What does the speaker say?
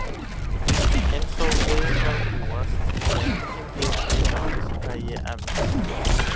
Eins og við var að búast voru engin fyrirheit af þessu tagi efnd.